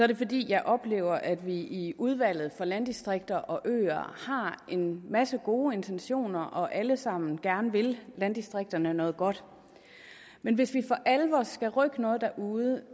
det fordi jeg oplever at vi i udvalget for landdistrikter og øer har en masse gode intentioner og alle sammen gerne vil landdistrikterne noget godt men hvis vi for alvor skal rykke noget derude